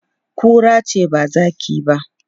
Kura ce ba zaki ba.